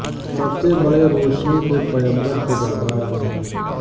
سب سے بڑے روشنی کے پیمبر کے دربار میں